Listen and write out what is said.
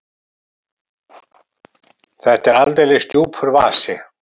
Þetta er aldeilis djúpur vasi!